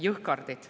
Jõhkardid.